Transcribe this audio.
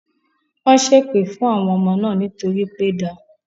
Wọ́n ṣé èpè fún àwọn ọmọ náà nítorí pé da